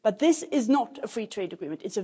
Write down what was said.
But this is not a free trade agreement.